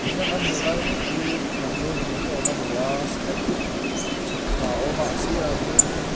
tuna kan hmuh lai mek hi thlanmual ni mai awm a ni a step chhuk thla a awm a a sir ah hian in --